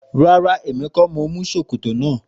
Rárá èmi kó ni mo mú ṣòkòtò náà.